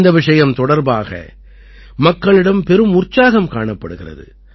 இந்த விஷயம் தொடர்பாக மக்களிடம் பெரும் உற்சாகம் காணப்படுகிறது